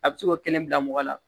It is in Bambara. A bɛ se k'o kelen bila mɔgɔ la